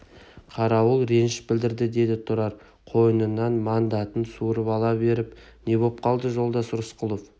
қарауыл реніш білдірді деді тұрар қойнынан мандатын суырып ала беріп не боп қалды жолдас рысқұлов